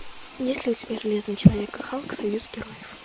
есть ли у тебя железный человек и халк союз героев